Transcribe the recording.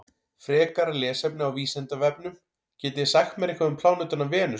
Frekara lesefni á Vísindavefnum: Getið þið sagt mér eitthvað um plánetuna Venus?